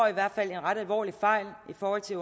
i hvert fald en ret alvorlig fejl i forhold til